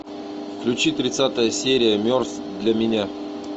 включи тридцатая серия мертв для меня